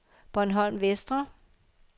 Bornholm Vestre